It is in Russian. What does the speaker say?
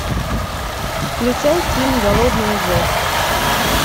включай фильм голодные зет